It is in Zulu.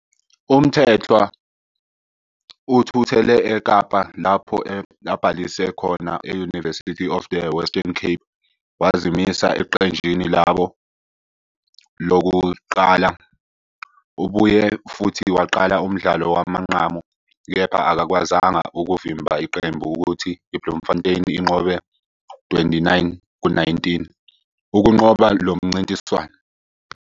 UMthethwa uthuthele eKapa, lapho abhalise khona e- University of the Western Cape, wazimisa eqenjini labo lokuqala. Ubuye futhi waqala umdlalo wamanqamu, kepha akakwazanga ukuvimba iqembu ukuthi iBloemfontein inqobe u-29-19 ukunqoba lo mncintiswano.